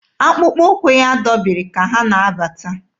Akpụkpọ ụkwụ ya dọbiri ka ha na-abata.